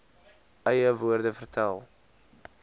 eie woorde vertel